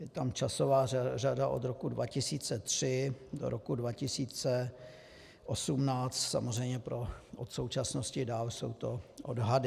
Je tam časová řada od roku 2003 do roku 2018, samozřejmě od současnosti dál jsou to odhady.